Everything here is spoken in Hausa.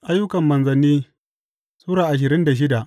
Ayyukan Manzanni Sura ashirin da shida